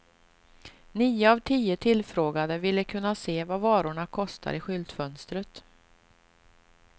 Nio av tio tillfrågade ville kunna se vad varorna kostar i skyltfönstret.